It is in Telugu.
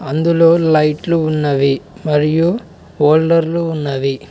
అందులో లైట్లు ఉన్నవి మరియు హోల్డర్లు ఉన్నవి.